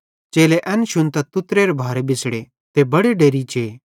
चेले एन शुन्तां तुत्तेरे भारे बिछ़ड़े ते बड़े डेरि जे